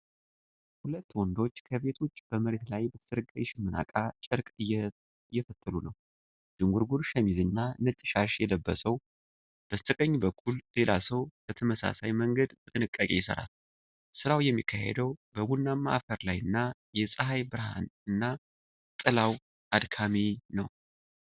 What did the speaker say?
ሁለት ወንዶች ከቤት ውጭ በመሬት ላይ በተዘረጋ የሽመና እቃ ጨርቅ እየፈተሉ ነው። ዥንጉርጉር ሸሚዝና ነጭ ሻሽ የለበሰው፣ በስተቀኝ በኩል ሌላ ሰው በተመሳሳይ መንገድ በጥንቃቄ ይሰራል። ስራው የሚካሄደው በቡናማ አፈር ላይና፣ የፀሐይ ብርሃኑና ጥላው አድካሚ ነው።